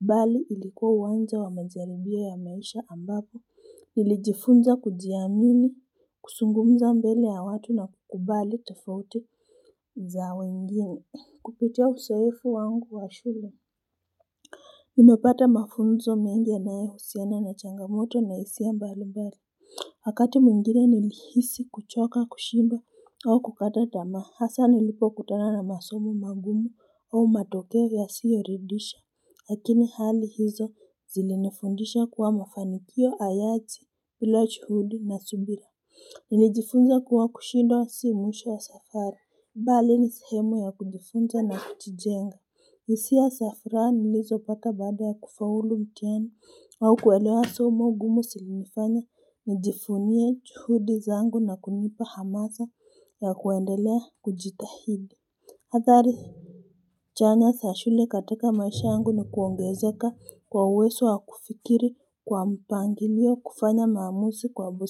bali ilikuwa uanzo wa majaribio ya maisha ambapo nijifunza kujiamini kuzungumza mbele ya watu na kukubali tofauti za wengine Kupitia uzoefu wangu wa shule nImepata mafunzo mengi ya nayo husiana na changamoto na hisia mbali mbali wakati mwingine nilihisi kuchoka kushindwa au kukata tamaa hasa nilipo kutana na masomo mangumu au matokeo yasiyoridhisha lakini hali hizo zili nifundisha kuwa mafanikio hayaji bila juhudi na subira nilijifunza kuwa kushindwa si mwisho wa safari bali ni sehemu ya kujifunza na kutijenga hisia za furaha nilizo pata baada ya kufaulu mtihani au kuelewa somo gumu zilinifanya nijivunie juhudi zangu na kunipa hamasa ya kuendelea kujitahidi athari chanya za shule katika maisha yangu ni kuongezeka kwa uwezo wa kufikiri kwa mpangilio kufanya maamuzi kwa busi.